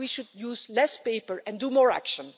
We should use less paper and take more action.